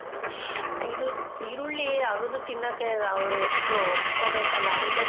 ಆ ಇದು ಈರುಳ್ಳಿ ಅಗ್ದು ತಿನ್ನೋಕೆ ಅವ್ರು ಎಷ್ಟು ಒಪ್ಕೋಬೇಕಲ್ಲ ಆದ್ರೂ ಬದ್ಲು